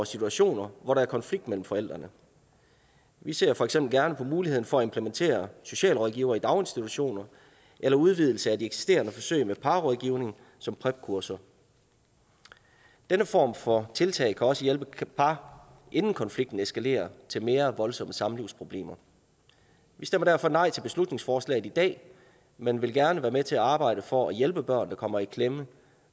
situationer hvor der er konflikt mellem forældrene vi ser for eksempel gerne på muligheden for at implementere socialrådgivere i daginstitutioner eller udvidelse af de eksisterende forsøg med parrådgivning som prep kurser denne form for tiltag kan også hjælpe par inden konflikten eskalerer til mere voldsomme samlivsproblemer vi stemmer derfor nej til beslutningsforslaget i dag men vil gerne være med til at arbejde for at hjælpe børn der kommer i klemme